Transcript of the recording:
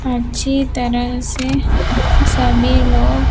अच्छी तरह से सभी लोग--